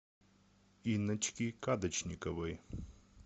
инночки кадочниковой